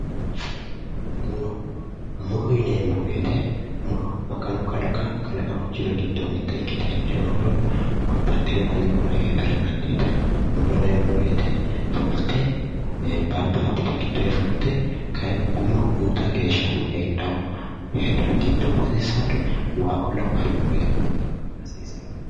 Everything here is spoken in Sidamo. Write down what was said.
Muro muro yineemmo woyite muro maganu kalaqawo kalaqamu jiro giddo mitte ikkite heedhe muro babbaxxewo dani muro heedhara dandiitawo muro yineemmo woyite fulte baattote giddoyi fulte guma uyita geesha heedhawo giddo hasiissawori waa'oo lawawori murote waanna waanna hasiisaworeeti